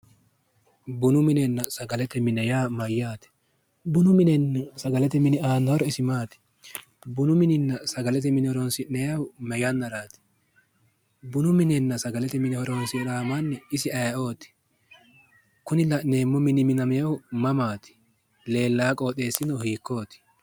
Bunu minenna sagalete mine yaa mayyaate? bunu mininna sagalete mini aanno horo maati? bunu minenna sagalete mine horonsi'nannihu ma yannaati? bunu minenna sagalete mine horonsi'rari isi ayeeooti? kuni la'neemmo mini minaminohu mamaati? leellawo wooxeessino mamaati?